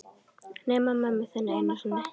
Nema mömmu þinni einu sinni.